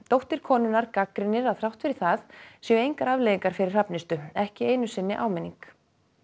dóttir konunnar gagnrýnir að þrátt fyrir það séu engar afleiðingar fyrir Hrafnistu ekki einu sinni áminning